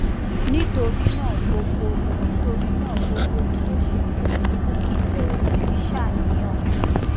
nítorí náà gbogbo nítorí náà gbogbo ohun tó ṣẹlẹ yìí mú kí n bẹrẹ síí ṣàníyàn